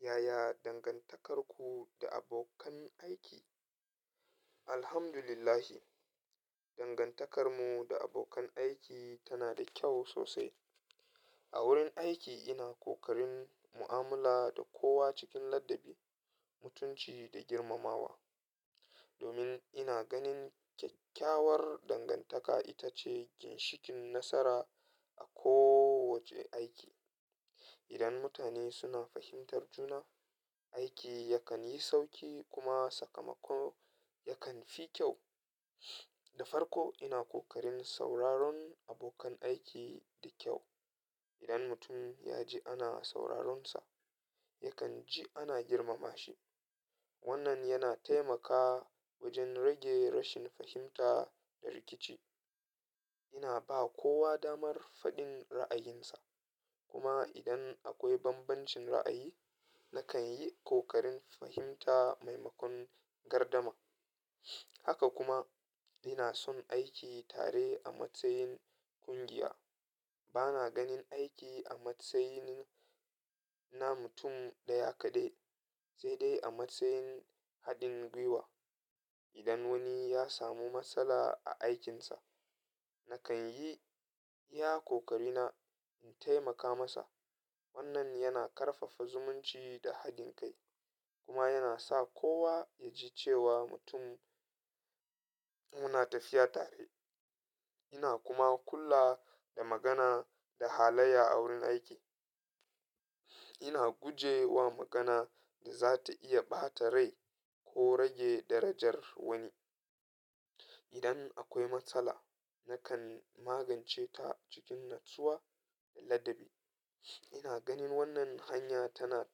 Yaya dangantakarku da abokan aiki? Alhamdulillah, dangantakarmu da abokan aiki tana da kyau sosai. A wurin aiki ina ƙoƙarin mu'amala da kowa cikin ladabi, mutunci da girmamawa. Domin ina ganin kyakkyawar dangantaka ita ce ginshikin nasara a kowace aiki. Idan mutane suna fahimtar juna, aiki yakan yi sauƙi kuma sakamako yakan fi kyau. Da farko ina ƙoƙarin sauraron abokan aiki da kyau. Idan mutum ya ji ana sauraronsa, yakan ji ana girmama shi. Wannan yana taimaka wajen rage rashin fahimta da rikici. Ina ba kowa damar faɗin ra'ayinsa kuma idan akwai bambancin ra'ayi, nakan yi ƙoƙarin fahimta maimakon gardama. Haka kuma ina son aiki tare a matsayin ƙungiya. Bana ganin aiki a matsayin na mutum ɗaya kaɗai, sai dai a matsayin haɗin gwiwa. Idan wani ya samu matsala a aikinsa, nakan yi iya ƙoƙarina in taimaka masa. Wannan yana ƙarfafa zumunci da haɗin kai kuma yana sa kowa ya ji cewa muna tafiya tare. Ina kuma kula da magana da halayya a wurin aiki. Ina guje wa magana da za ta iya ɓata rai ko rage darajar wani. Idan akwai matsala, nakan magance ta cikin natsuwa da ladabi. Ina ganin wannan hanya tana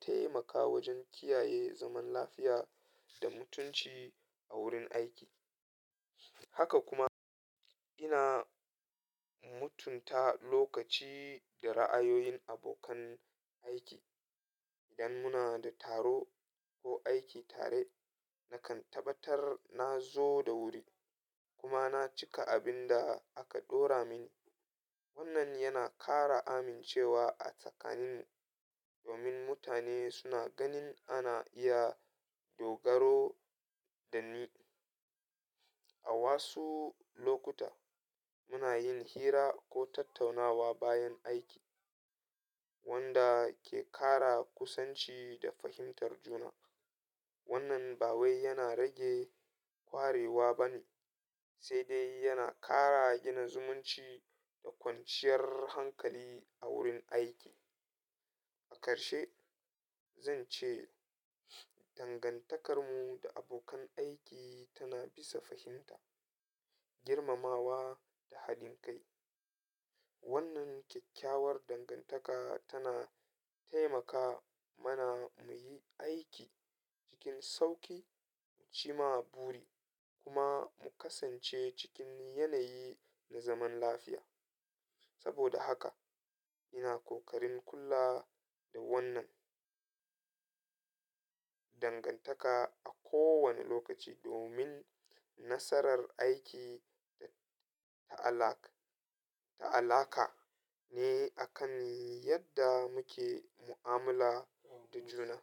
taimakawa wajen kiyaye zaman lafiya da mutunci a wurin aiki. Haka kuma ina mutunta lokaci da ra'ayoyin abokan aiki. Idan muna da taro ko aiki tare, nakan tabbatar na zo da wuri kuma na cika abin da aka ɗora mini. Wannan yana ƙara amincewa a tsakaninmu domin mutane suna ganin ana iya dogaro da ni. A wasu lokuta muna yin hira ko tattaunawa bayan aiki wanda ke ƙara kusanci da fahimtar juna. Wannan ba wai yana rage kwarewa ba ne, sai dai yana ƙara gina zumunci da kwanciyar hankali a wurin aiki. A karshe, zan ce dangantakarmu da abokan aiki tana bisa fahimta, girmamawa da haɗin kai. Wannan kyakkyawar dangantaka tana taimaka mana mu yi aiki cikin sauƙi, mu ci ma buri kuma mu kasance cikin yanayi na zaman lafiya. Saboda haka ina ƙoƙarin kula da wannan dangantaka a kowane lokaci domin nasarar aiki a'allaka ne akan yadda muke mu'amala da juna.